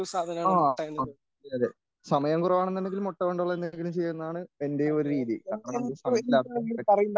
ആ അതെ അതെ സമയം കുറവാണെങ്കിൽ മുട്ട കൊണ്ടുള്ള എന്തെങ്കിലും ചെയ്യുന്നതാണ് എൻ്റെയൊരു രീതി അതാണെങ്കിൽ സമയം ലാഭിക്കാൻ പറ്റും.